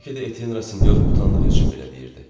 Bəlkə də Etyen Rasinyor utandığı üçün belə deyirdi.